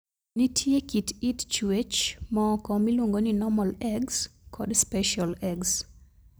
Nitie kit it chwech moko miluongo ni Normal eggs kod Special eggs.